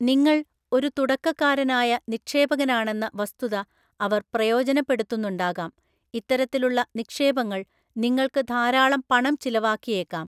നിങ്ങൾ ഒരു തുടക്കക്കാരനായ നിക്ഷേപകനാണെന്ന വസ്തുത അവർ പ്രയോജനപ്പെടുത്തുന്നുണ്ടാകാം, ഇത്തരത്തിലുള്ള നിക്ഷേപങ്ങൾ നിങ്ങൾക്ക് ധാരാളം പണം ചിലവാക്കിയേക്കാം.